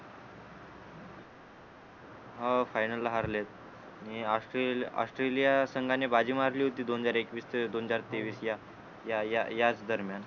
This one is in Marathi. हो final ला हरलेत नी ऑस्ट्रे ऑस्ट्रेलिया संघाने बाजी मारली होती दोन हजार एकवीस ते दोन हजार तेवीस या या या याच दरम्यान